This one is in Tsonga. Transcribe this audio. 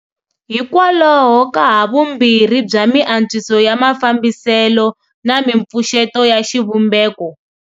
Hikwalaho ka havumbirhi bya miantswiso ya mafambiselo na mipfuxeto ya xivumbeko.